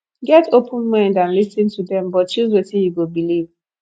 get open mind and lis ten to dem but choose wetin you go believe